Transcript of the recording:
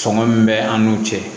Sɔngɔ min bɛ an n'u cɛ